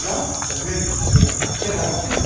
Il y en a même qui sont très avancées.